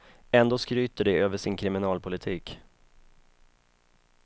Ändå skryter de över sin kriminalpolitik.